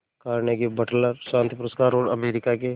Carnegie वटलर शांति पुरस्कार और अमेरिका के